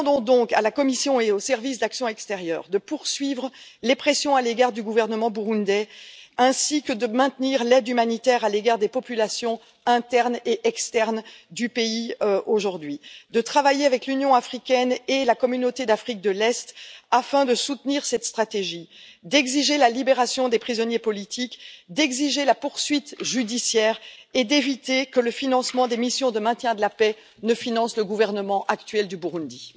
Par conséquent, nous demandons à la Commission et au Service européen pour l'action extérieure de poursuivre les pressions à l'égard du gouvernement burundais, ainsi que de maintenir l'aide humanitaire à l'égard des populations internes et externes du pays aujourd'hui, de travailler avec l'Union africaine et la Communauté d'Afrique de l'Est afin de soutenir cette stratégie, d'exiger la libération des prisonniers politiques, d'exiger la poursuite judiciaire et d'éviter que le financement des missions de maintien de la paix ne finance le gouvernement actuel du Burundi.